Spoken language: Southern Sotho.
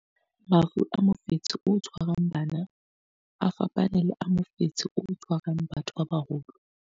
Mafu a mofetshe o tshwarang bana a fapane le a mofetshe o tshwarang batho ba baholo.